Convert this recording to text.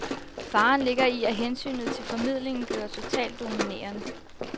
Faren ligger i, at hensynet til formidlingen bliver totalt dominerende.